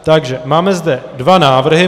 Takže máme zde dva návrhy.